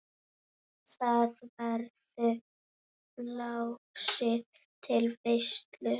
Þar verður blásið til veislu.